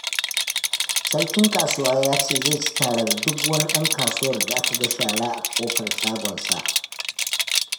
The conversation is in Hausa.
Sarkin kasuwa ya ce, zai ci tarar duk wani ɗan kasuwar da aka ga shara a ƙofar shagonsa